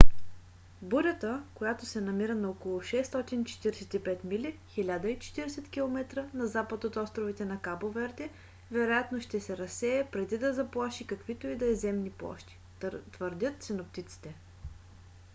бурята която се намира на около 645 мили 1040 км на запад от островите на кабо верде вероятно ще се разсее преди да заплаши каквито и да е земни площи твърдят синоптиците